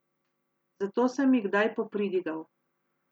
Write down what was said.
Zato sem ji kdaj popridigal.